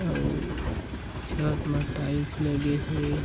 अउर छत मा टाइल्स लगे हे।